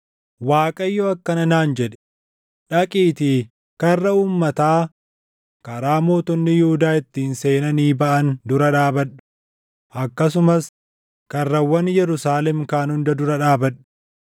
Waaqayyo akkana naan jedhe: “Dhaqiitii karra uummataa karaa mootonni Yihuudaa ittiin seenanii baʼan dura dhaabadhu; akkasumas karrawwan Yerusaalem kaan hunda dura dhaabadhu.